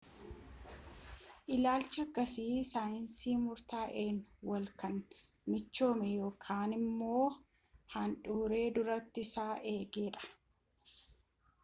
ilaalchi akkasii saayinsii murtaa'an walin kan michoome yookaan immo haalduree durtii isaa eege dha